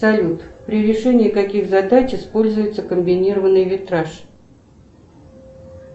салют при решении каких задач используется комбинированный витраж